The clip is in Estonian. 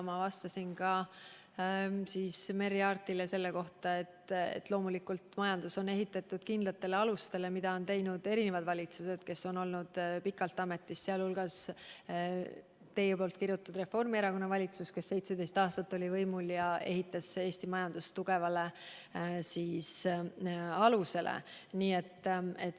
Ma vastasin Merry Aartile, et loomulikult on majandus ehitatud kindlatele alustele ning seda on teinud mitmed valitsused, kes on olnud pikalt ametis, sealhulgas teie kirutud Reformierakonna valitsus, mis oli võimul 17 aastat ja ehitas Eesti majanduse tugevale alusele.